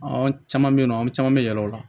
An caman bɛ yen nɔ an caman bɛ yɛlɛn o la